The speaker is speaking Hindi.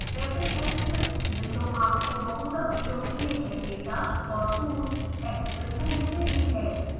rapid access विंडो आपको बहुधा प्रयोग किये गए डाटा और टूल्स एक्सेस करने देती है